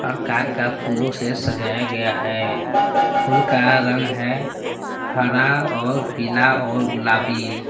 और कार का फूलों से सजाया गया है फूल का रंग है हरा और पीला और गुलाबी।